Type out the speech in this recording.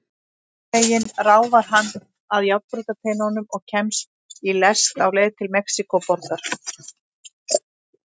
Einhvern veginn ráfar hann að járnbrautarteinum og kemst í lest á leið til Mexíkóborgar.